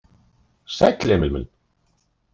Sæll, Emil minn.